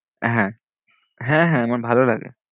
হ্যাঁ হ্যাঁ হ্যাঁ আমার ভালো লাগে।